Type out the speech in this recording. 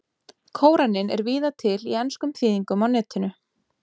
Kóraninn er víða til í enskum þýðingum á Netinu.